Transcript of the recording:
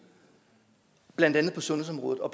blandt andet på sundhedsområdet og